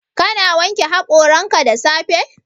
Ka na wanke haƙoranka da safe?